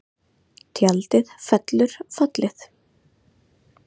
Tjaldið fellur fallið